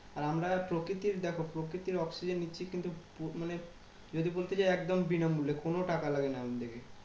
আর আমরা প্রকৃতির দেখো প্রকৃতির oxygen নিচ্ছি কিন্তু মানে যদি বলতে যাই একদম বিনা মূল্যে। কোনো টাকা লাগে না আমার লেগে।